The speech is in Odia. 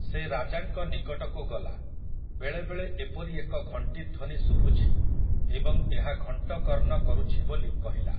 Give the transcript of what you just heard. ସେ ରାଜାଙ୍କ ନିକଟକୁ ଗଲା, ବେଳେ ବେଳେ ଏପରି ଏକ ଘଂଟି ଧ୍ୱନି ଶୁଭୁଛି ଏବଂ ଏହା ଘଂଟକର୍ଣ୍ଣ କରୁଛି ବୋଲି କହିଲା ।